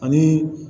Ani